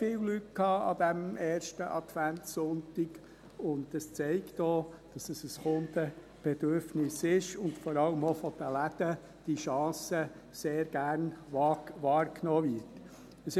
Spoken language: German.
Es hatte an diesem ersten Adventssonntag sehr viele Leute, und das zeigt auch, dass dies ein Kundenbedürfnis ist und diese Chance vor allem auch von den Läden sehr gerne wahrgenommen wird.